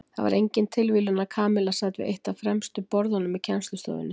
Það var engin tilviljun að Kamilla sat við eitt af fremstu borðunum í kennslustofunni.